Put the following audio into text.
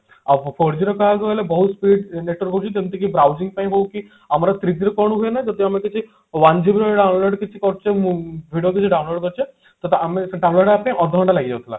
ଆଉ four G ର କହିଆକୁ ଗଲେ ବହୁତ speed network ରହୁଛି ଯେମତିକି browsing ପାଇଁ ହଉ କି ଆମର three G ର କଣ ହୁଏ ନା ଯଦି ଆମେ କିଛି one GB download କିଛି କରୁଛେ ମ video କିଛି download କରୁଛେ ତ ତ ଆମେ ସେ download ହବା ପାଇଁ ଅଧଘଣ୍ଟା ଲାଗିଯାଉଥିଲା